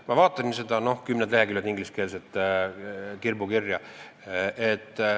Ma vaatasin seda, kümned leheküljed ingliskeelset kirbukirja.